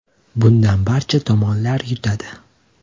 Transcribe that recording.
Bundan barcha tomonlar yutadi.